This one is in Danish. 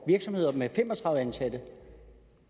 virksomheder med fem og tredive ansatte